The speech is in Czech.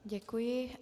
Děkuji.